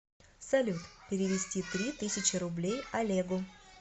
салют перевести три тысячи рублей олегу